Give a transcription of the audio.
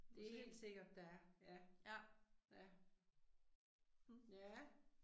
Det er helt sikkert der er ja, ja. Ja